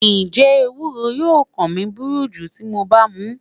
Njẹ ewuro yoo kan mi buruju ti MO ba mu?